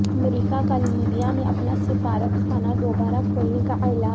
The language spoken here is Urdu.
امریکہ کا لیبیا میں اپنا سفارت خانہ دوبارہ کھولنے کا اعلان